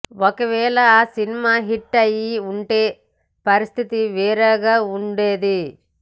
ఒకవేళ ఆ cinema hit అయ్యి ఉంటె పరిస్థితి వేరుగా ఉండేది